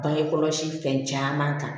Bange kɔlɔsi fɛn caaman ta